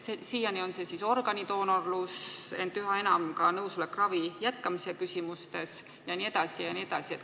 Siiani on tegu olnud organidoonorlusega, ent üha enam soovitakse ka nõusolekut ravi jätkamiseks jne, jne.